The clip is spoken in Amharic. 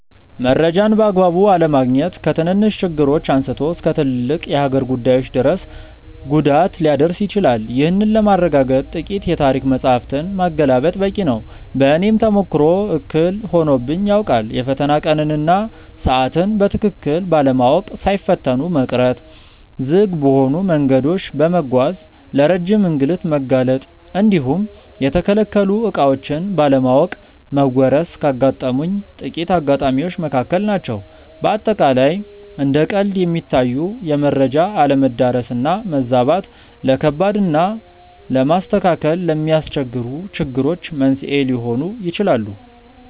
መረጃን በአግባቡ አለማግኘት ከትንንሽ ችግሮች አንስቶ እስከ ትልልቅ የሀገር ጉዳዮች ድረስ ጉዳት ሊያደርስ ይችላል። ይህንን ለማረጋገጥ ጥቂት የታሪክ መጻሕፍትን ማገላበጥ በቂ ነው። በእኔም ተሞክሮ እክል ሆኖብኝ ያውቃል። የፈተና ቀንን እና ሰዓትን በትክክል ባለማወቅ ሳይፈተኑ መቅረት፣ ዝግ በሆኑ መንገዶች በመጓዝ ለረጅም እንግልት መጋለጥ እንዲሁም የተከለከሉ ዕቃዎችን ባለማወቅ መወረስ ካጋጠሙኝ ጥቂት አጋጣሚዎች መካከል ናቸው። በአጠቃላይ እንደ ቀልድ የሚታዩ የመረጃ አለመዳረስ እና መዛባት፣ ለከባድ እና ለማስተካከል ለሚያስቸግሩ ችግሮች መንስኤ ሊሆኑ ይችላሉ።